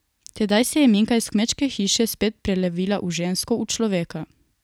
Tedaj se je Minka iz kmečke hiše spet prelevila v žensko, v človeka.